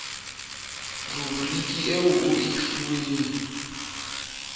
ruburiki eo o e fuweng